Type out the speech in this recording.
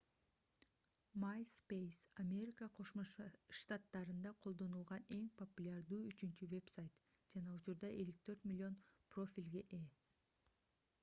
myspace америка кошмо штаттарында колдонулган эң популярдуу үчүнчү вебсайт жана учурда 54 миллион профилге ээ